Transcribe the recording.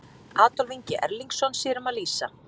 Adolf Ingi Erlingsson sér um að lýsa.